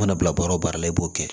I mana bila baara o baara la i b'o kɛ